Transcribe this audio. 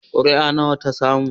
Kuri'a nawa ta samu?